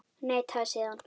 Neitaði síðan.